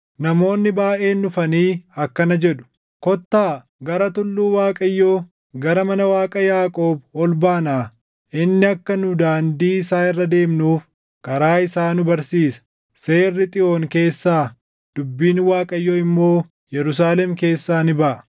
Namoonni baayʼeen dhufanii akkana jedhu; “Kottaa gara tulluu Waaqayyoo, gara mana Waaqa Yaaqoob ol baanaa. Inni akka nu daandii isaa irra deemnuuf karaa isaa nu barsiisa.” Seerri Xiyoon keessaa, dubbiin Waaqayyoo immoo // Yerusaalem keessaa ni baʼa.